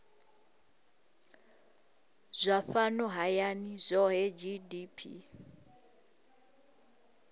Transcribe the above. zwa fhano hayani zwohe gdp